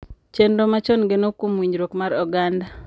chenro machon geno kuom winjruok mar oganda